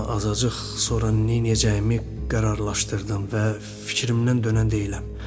Amma azacıq sonra nə eləyəcəyimi qərarlaşdırdım və fikrimdən dönən deyiləm.